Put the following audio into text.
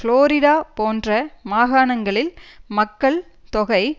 Florida போன்ற மாகாணங்களில் மக்கள் தொகை